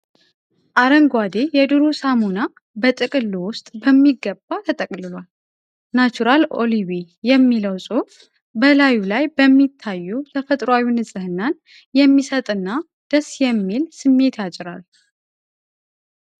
አረንጓዴ የዱሩ ሳሙና በጥቅሉ ውስጥ በሚገባ ተጠቅልሏል። "ናቹራል ኦሊቬ" የሚለው ጽሑፍ በላዩ ላይ በመታየቱ ተፈጥሯዊ ንፅህናን የሚሰጥና ደስ የሚል ስሜት ያጭራል።